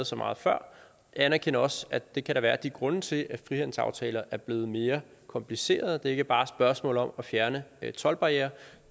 så meget før jeg anerkender også at det kan der være de grunde til at frihandelsaftaler er blevet mere komplicerede det er ikke bare et spørgsmål om at fjerne toldbarrierer